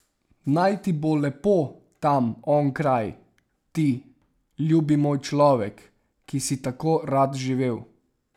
Naj ti bo lepo tam onkraj, ti, ljubi moj človek, ki si tako rad živel.